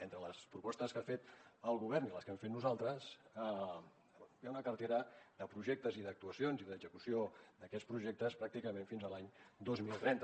entre les propostes que ha fet el govern i les que hem fet nosaltres hi ha una cartera de projectes i d’actuacions i d’execució d’aquests projectes pràcticament fins a l’any dos mil trenta